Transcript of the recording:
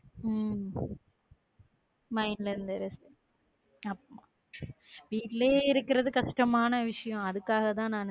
உம் mind ல இருந்து வீட்டிலேயே இருக்கிறது கஷ்டமான விஷயம். அதுக்காகத்தான் நான்